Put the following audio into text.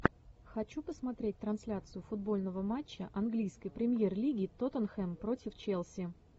хочу посмотреть трансляцию футбольного матча английской премьер лиги тоттенхэм против челси